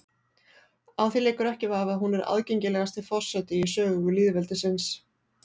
Á því leikur ekki vafi að hún er aðgengilegasti forseti í sögu lýðveldisins.